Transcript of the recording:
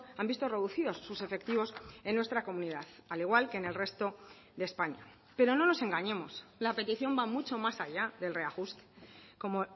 han visto reducidos sus efectivos en nuestra comunidad al igual que en el resto de españa pero no nos engañemos la petición va mucho más allá del reajuste como